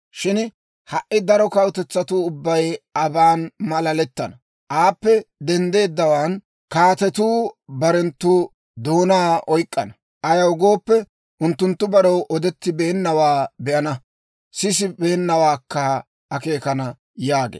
Shin ha"i daro kawutetsatuu ubbay aban malalettana; aappe denddeeddawaan, kaatetuu barenttu doonaa oyk'k'ana; ayaw gooppe, unttunttu barew odettibeennawaa be'ana; sisibeennawaakka akeekana» yaagee.